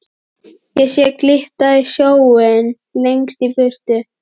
Ég sé glitta í sjóinn lengst í burtu.